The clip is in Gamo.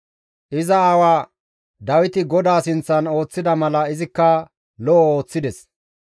Iza aawa Dawiti GODAA sinththan ooththida mala izikka lo7o ooththides.